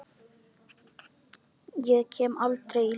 Ég kem aldrei í ljós.